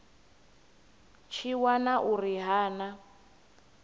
tshi wana uri ha na